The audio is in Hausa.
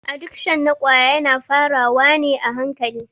Adikshon na ƙwaya yana fara wa ne a hankali.